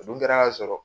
O dun kɛra k'a sɔrɔ